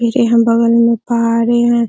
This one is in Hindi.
ये जो बगल मे पहाड़ी है ।